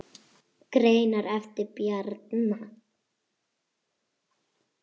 Greinar eftir Bjarna